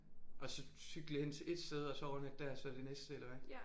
Og så cykle hen til ét sted og så overnatte der og så det næste eller hvad?